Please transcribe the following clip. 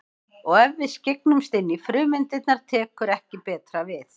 Og ef við skyggnumst inn í frumeindirnar tekur ekki betra við.